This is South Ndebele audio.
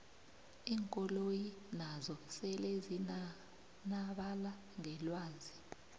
iinkoloyi nazo sele zinanabala ngelwazi